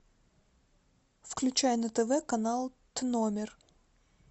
включай на тв канал т номер